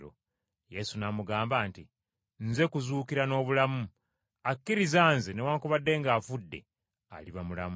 Yesu n’amugamba nti, “Nze kuzuukira n’obulamu; akkiriza nze newaakubadde ng’afudde, aliba mulamu,